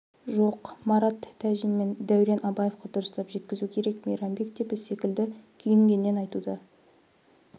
жоқ марат тәжин мен дәурен абаевқа дұрыстап жеткізу керек мейрамбек те біз секілді күйінгеннен айтуда